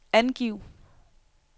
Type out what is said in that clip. angiv